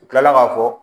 U kilala k'a fɔ